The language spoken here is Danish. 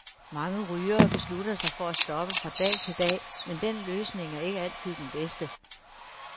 Mange rygere beslutter sig for at stoppe fra dag til dag, men den løsning er ikke altid den bedste.